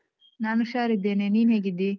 ನಾನು ಹುಷಾರಿದ್ದೇನೆ, ನೀನ್ ಹೇಗಿದ್ದೀ?